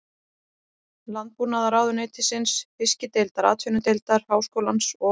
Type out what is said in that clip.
Landbúnaðarráðuneytisins, Fiskideildar Atvinnudeildar Háskólans og